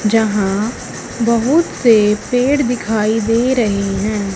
जहां बहुत से पेड़ दिखाई दे रहे हैं।